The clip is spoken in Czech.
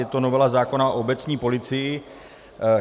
Je to novela zákona o obecní policii.